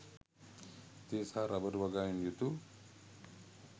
තේ සහ රබර් වගාවෙන් යුතු